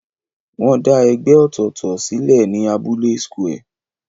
Wọ́n dá ẹgbẹ́ ọ̀tọ̀ọ̀tọ̀ sílẹ̀ ní abúlé square.